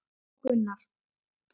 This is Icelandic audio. Jón Gunnar.